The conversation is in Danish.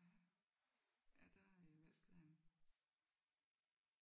Ja ja der øh vaskede han luftede